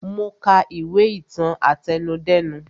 Mo ka ìwé ìtàn àtẹnudẹ́nu